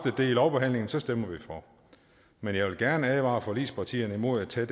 i lovbehandlingen stemmer vi for men jeg vil gerne advare forligspartierne imod at tage